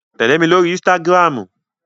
Tẹ̀lé mi lóri Instagram.